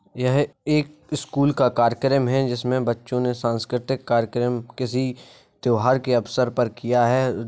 यह एक स्कूल का कार्यक्रम है। जिसमें बच्चों ने सांस्कृतिक कार्यक्रम किसी त्योहार के अवसर पर किया है।